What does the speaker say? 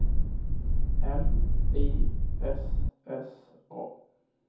M I S S A